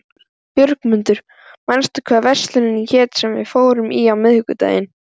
Björgmundur, manstu hvað verslunin hét sem við fórum í á miðvikudaginn?